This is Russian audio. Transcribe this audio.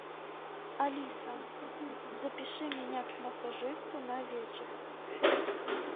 алиса запиши меня к массажисту на вечер